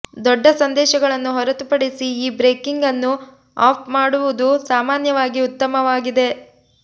ದೊಡ್ಡ ಸಂದೇಶಗಳನ್ನು ಹೊರತುಪಡಿಸಿ ಈ ಬ್ರೇಕಿಂಗ್ ಅನ್ನು ಆಫ್ ಮಾಡುವುದು ಸಾಮಾನ್ಯವಾಗಿ ಉತ್ತಮವಾಗಿದೆ